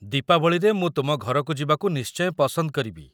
ଦୀପାବଳିରେ ମୁଁ ତୁମ ଘରକୁ ଯିବାକୁ ନିଶ୍ଚୟ ପସନ୍ଦ କରିବି ।